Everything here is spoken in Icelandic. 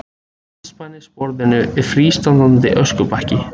Andspænis borðinu er frístandandi öskubakki.